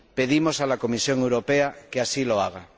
Pedimos a la Comisión Europea que así lo haga.